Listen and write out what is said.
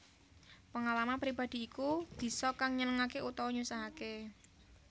Pengalaman pribadi iku bisa kang nyenengake utawa nyusahake